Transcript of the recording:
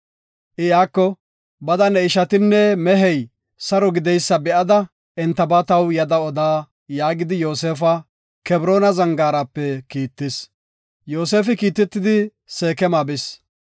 I iyako, “Bada ne ishatinne mehey saro gideysa be7ada entaba taw yada oda” yaagidi Yoosefa Kebroona zangaarape kiittis. Yoosefi kiitetidi Seekema bis.